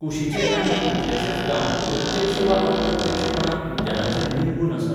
कुशीचे आनीक कितलेशेच गांव प्रत्यक्ष वा अप्रत्यक्षपणान उद्यानाचेर निंबून आसात.